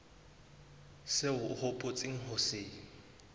seo o hopotseng ho se